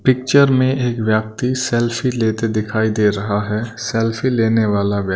picture में एक व्यक्ति सेल्फी लेते दिखाई दे रहा है सेल्फी लेने वाला व्यक्--